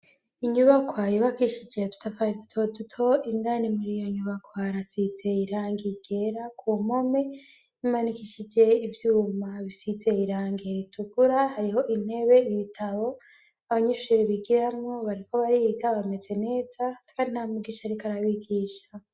Inyubakwa yubakishije udutafari duto tuto, indani muri iyo nyubakoharasize irangi ryera, kumpome ,imanikishije ivyuma bisize irangi ritukura ,hariho intebe ,ibitabo abanyeshuri bigiramwo bariko bariga bameze neza, kandi nta mwigisha ariko arabigisha.